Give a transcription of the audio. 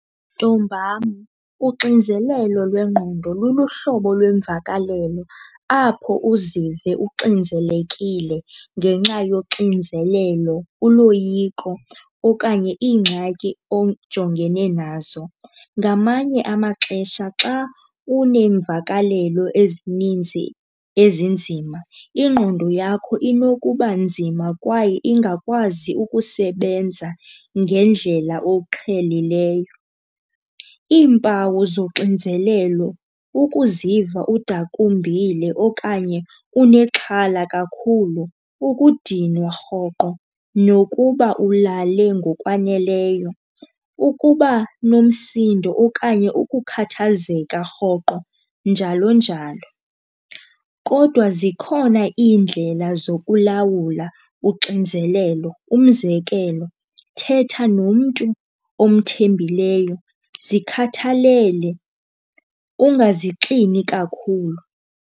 Ntombam, uxinzelelo lwengqondo luluhlobo lwemvakalelo apho uzive uxinzelekile ngenxa yoxinzelelo, uloyiko okanye iingxaki ojongene nazo. Ngamanye amaxesha xa uneemvakalelo ezininzi ezinzima ingqondo yakho inokuba nzima kwaye ingakwazi ukusebenza ngendlela oqhelileyo. Iimpawu zoxinzelelo kukuziva udakumbile okanye unexhala kakhulu, ukudinwa rhoqo nokuba ulale ngokwaneleyo, ukuba nomsindo okanye ukukhathazeka rhoqo njalo njalo. Kodwa zikhona iindlela zokulawula uxinzelelo, umzekelo, thetha nomntu omthembileyo, zikhathalele ungazixini kakhulu.